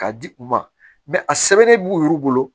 K'a di u ma a sɛbɛnnen b'u yɛru bolo